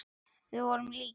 Við vorum líkir.